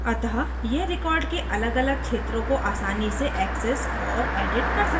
अतः यह record के अलगअलग क्षेत्रों को आसानी से access और edit कर सकता है